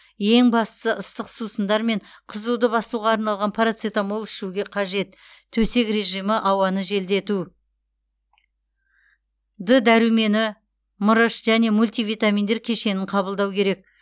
ең бастысы ыстық сусындар мен қызуды басуға арналған парацетамол ішуге қажет төсек режимі ауаны желдету д дәрумені мырыш және мультивитаминдер кешенін қабылдау керек